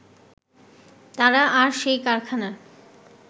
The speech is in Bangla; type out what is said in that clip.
তারা আর সেই কারখানার